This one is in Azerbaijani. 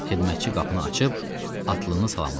Xidmətçi qapını açıb atlını salamladı.